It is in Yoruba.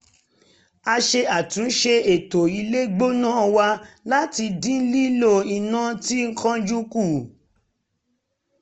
a ṣe àtúnṣe ètò ilé gbóná wa láti dín lílò iná tí kánjú kù